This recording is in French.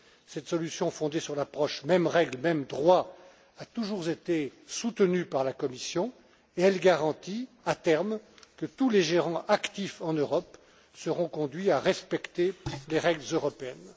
Cette solution fondée sur l'approche mêmes règles, mêmes droits a toujours été soutenue par la Commission et elle garantit, à terme, que tous les gérants actifs en Europe seront conduits à respecter les règles européennes.